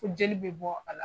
Ko jeli bɛ bɔ a la